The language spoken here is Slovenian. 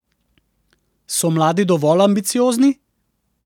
So mladi dovolj ambiciozni?